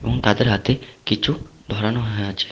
এবং তাদের হাতে কিছু ধরানো হয়ে আছে।